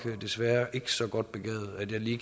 desværre ikke så godt begavet